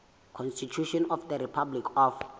constitution of the republic of